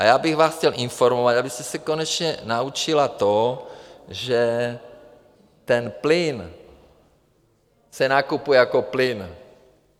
A já bych vás chtěl informovat, abyste se konečně naučila to, že ten plyn se nakupuje jako plyn.